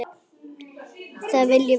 Það viljum við ekki!